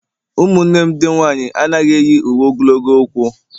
umunne m ndi nwanyi anaghi eyi uwe ogologo ọkwu